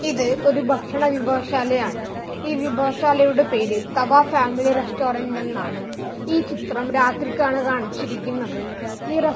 ഇത് ഒരു ഭക്ഷണ വിഭവശാല ആണ് ഈ വിഭവ ശാലയുടെ പേര് തവ ഫാമിലി റെസ്റ്റോറൻറ് എന്നാണ് ഈ ചിത്രം രാത്രിക്കാണ് കാണിച്ചിരിക്കുന്നത് ഈ റെസ്--